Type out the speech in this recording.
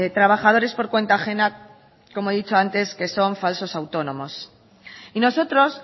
trabajadores por cuenta ajena como he dicho antes que son falsos autónomos y nosotros